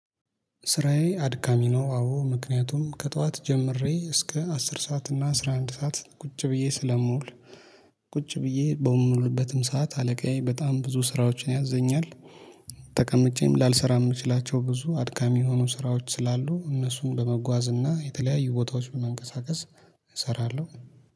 ስራዬ አድካሚ ነው። አዎ ምክንያቱም ከጠዋት ጀምሬ እስከ አስር ሰዓት እና አስራ አንድ ሰዓት ቁጭ ብዬ ስለምውል ቁጭ ብዬ በምውልበትም ሰዓት አለቃዬ በጣም ብዙ ስራዎችን ያዘኛል። ተቀምጬም ላልሰራ የምችላቸው ብዙ አድካሚ የሆኑ ስራዎች ስላሉ እነሱን በመጓዝ እና የተለያዩ ቦታዎች በመንቀሳቀስ እሰራለሁ